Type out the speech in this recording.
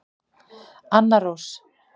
Anna Rós.